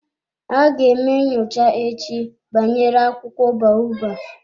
Aga eme nyocha echi banyere akwụkwọ baobab.